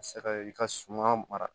Ka se ka i ka suma mara